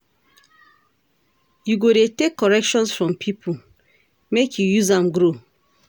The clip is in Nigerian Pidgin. You go dey take corrections from pipo, make you use am grow.